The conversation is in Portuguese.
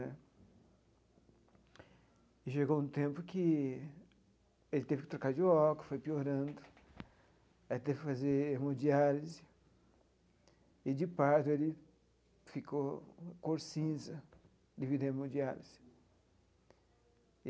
E chegou um tempo que ele teve que trocar de óculos, foi piorando, aí teve que fazer hemodiálise, e, de pardo, ele ficou com a cor cinza devido à hemodiálise.